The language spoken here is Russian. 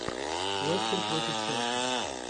лестер против челси